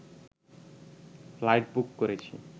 flight book করেছি